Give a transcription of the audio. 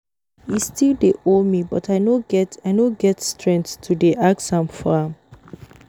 He still dey owe me but I no get I no get strength to dey ask for am